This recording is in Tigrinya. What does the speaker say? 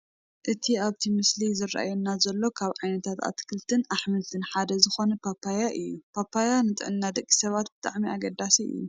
እቲ ኣብቲ ምስሊ ዝራኣየና ዘሎ ካብ ዓይነታት ኣትክልትን ኣሕምልትን ሓደ ዝኾነ ፓፓያ እዩ፡፡ ፓፓያ ንጥዕና ደቂ ሰባት ብጣዕሚ ኣገዳሲ እዩ፡፡